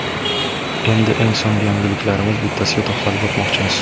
Endi eng so‘nggi yangiliklardan bittasiga to‘xtalib o‘tmoqchimiz.